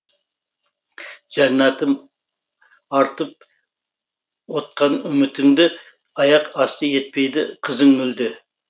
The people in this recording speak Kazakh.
жәннәтім артып отқан үмітіңді аяқ асты етпейді қызың мүлде